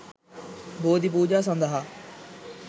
බෝධි පූජා සඳහා